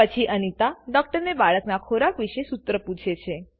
પછી અનિતા ડૉક્ટરને બાળકના ખોરાક વિશે સૂત્ર પૂછે છે